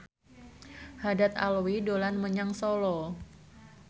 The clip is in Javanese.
Haddad Alwi dolan menyang Solo